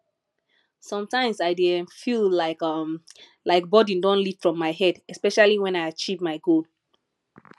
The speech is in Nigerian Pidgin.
sometimes i dey um feel light um like burden don lift from my head especially when i achieve my goal